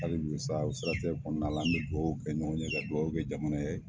Hali bikosa o siratigɛ kɔnɔna na an bɛ dugawu kɛ ɲɔgɔn ye ka dugawukɛ jamana ye.